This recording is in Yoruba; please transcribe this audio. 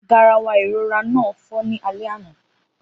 Garawa ìrora náà fọ́ ní alẹ́ àná